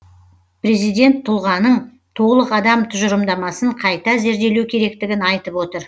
президент тұлғаның толық адам тұжырымдамасын қайта зерделеу керектігін айтып отыр